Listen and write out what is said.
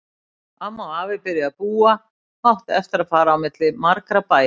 Amma og afi byrjuðu að búa og áttu eftir að fara á milli margra bæja.